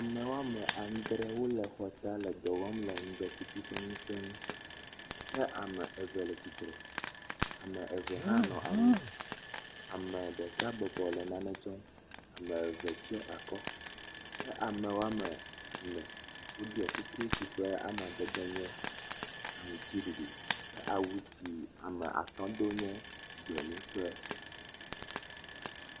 Ame wɔme adre wo le xɔ ta le dɔ wɔm le ŋdɔkutsu ƒe ŋuse ŋu kea me eve le tsitre am eve hã bɔbɔ nɔ anyi. Ame ɖeka bɔbɔ le nane tsɔm ame eve tsɔ akɔ ke ame wɖme ene woɖɔ kuku si ƒe amadede nye aŋtsiɖiɖiɖ ke awu si ame atɔ do nye gbemu kple.